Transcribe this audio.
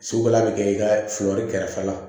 Sugu la bi kɛ i ka fiyɛli kɛrɛfɛ la